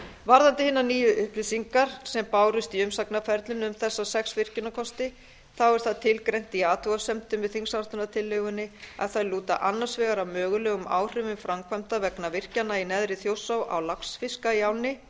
varðandi hinar nýju upplýsingar sem bárust í umsagnarferlinu um þessa sex virkjunarkosti þá er það tilgreint í athugasemdum með þingsályktunartillögunni að þeir lúta annars vegar að mögulegum áhrifum framkvæmda vegna virkjana í neðri þjórsá á laxfiska í ánni